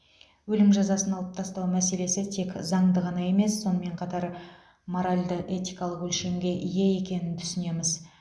өлім жазасын алып тастау мәселесі тек заңды ғана емес сонымен бірге моральді этикалық өлшемге ие екенін түсінеміз